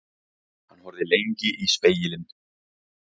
Hann horfði lengi í spegilinn.